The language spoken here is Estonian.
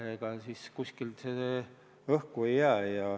Ega see kuskile õhku ei jää.